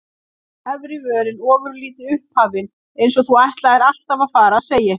Efri vörin ofurlítið upphafin, eins og þú ætlaðir alltaf að fara að segja eitthvað.